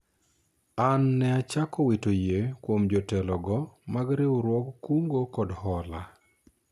an ne achako wito yie kuom jotelo go mag riwruog kungo kod hola